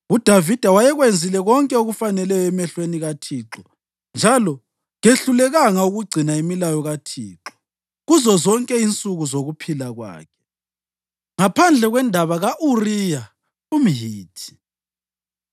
UDavida wayekwenzile konke okufaneleyo emehlweni kaThixo njalo kehlulekanga ukugcina imilayo kaThixo kuzozonke insuku zokuphila kwakhe ngaphandle kwendaba ka-Uriya umHithi.